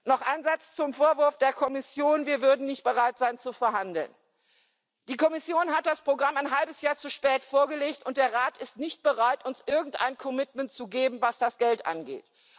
Noch ein Satz zum Vorwurf der Kommission, wir seien nicht bereit zu verhandeln Die Kommission hat das Programm ein halbes Jahr zu spät vorgelegt, und der Rat ist nicht bereit, uns irgendein commitment zu geben, was das Geld angeht.